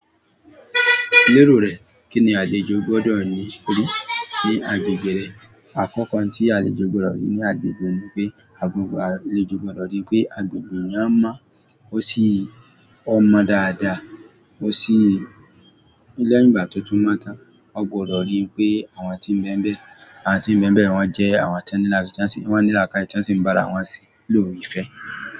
Lérò rẹ, kín ni àlejò gbọ́dọ̀ rí ní agbègbè rẹ? Àkọ́kọ́ n tí àlejò gbọ́dọ̀ rí ní agbègbè ni pé agbègbè mi a mọ, ó sì ọ́ mọ dáadáa. Ó sì lé ẹ̀yin ìgbà tuntun máa tá, ó gbọ́dọ̀ rí i pé àwọn tí ń bẹmbẹ, àwọn tí ń bẹmbẹ, wọ́n jẹ́ àwọn tó ní là káye ton sì ń bá ara wọn ṣe ló ìfẹ́.